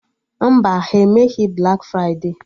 Mba, ha emeghị blak fride